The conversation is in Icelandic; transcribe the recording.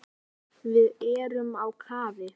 Við erum á kafi.